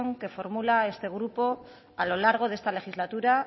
que formula este grupo a lo largo de esta legislatura